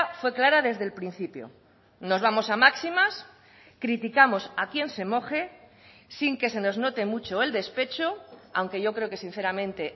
fue clara desde el principio nos vamos a máximas criticamos a quién se moje sin que se nos note mucho el despecho aunque yo creo que sinceramente